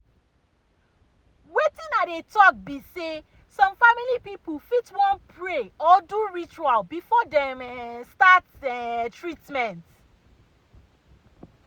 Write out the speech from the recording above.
wetin i dey talk be say some family people fit wan pray or do ritual before dem go um start um treatment. um